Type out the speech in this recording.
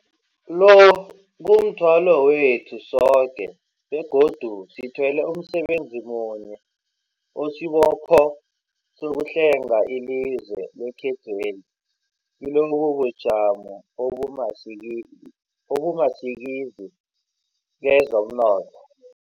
Lo, kumthwalo wethu sokebegodu sithwele umsebenzi munye osibopho sokuhlenga ilizwe lekhethweli kilobu bujamo obumasikili obumasikizi kezomnotho.